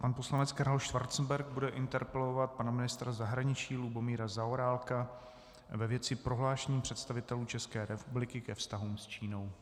Pan poslanec Karel Schwarzenberg bude interpelovat pana ministra zahraničí Lubomíra Zaorálka ve věci prohlášení představitelů České republiky ke vztahům s Čínou.